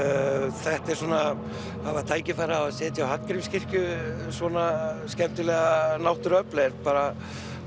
þetta er svona að hafa tækifæri á að setja á Hallgrímskirkju svona skemmtileg náttúruöfl er bara